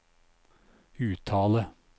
uttale